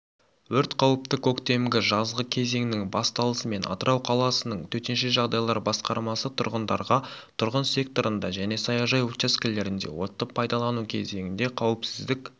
өрт қауіпті көктемгі жазғы кезеңнің басталысымен атырау қаласының төтенше жағдайлар басқармасы тұрғындарға тұрғын секторында және саяжай учаскелерінде отты пайдалану кезінде қауіпсіздік